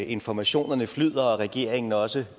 informationerne flyder og regeringen også